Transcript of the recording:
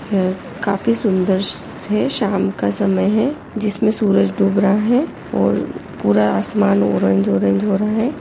यह काफी सुंदर से शाम का समय है जिसमें सूरज डूब रहा है और पूरा आसमान ऑरेंज ऑरेंज हो रहा है।